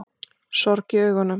Sorg í augunum.